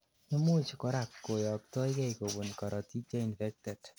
imuch korak koyoktokei kobun karotik cheinfected